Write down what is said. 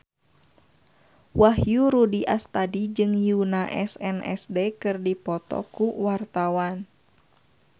Wahyu Rudi Astadi jeung Yoona SNSD keur dipoto ku wartawan